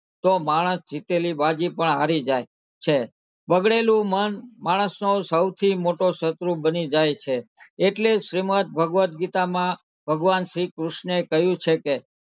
તો માણસ જીતેલી બાજી પણ હારી જાય છે બગડેલું મન માણસનો સૌથી મોટો શત્રુ બની જાય છે એટલે શ્રીમદ ભગવદગીતામાં ભગવાન શ્રીકૃષ્ણએ કહ્યું છે કે,